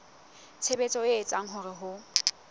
tshebetso e etsang hore ho